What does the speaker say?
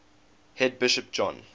head bishop john